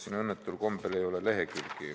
Siin õnnetul kombel ei ole lehekülgi ...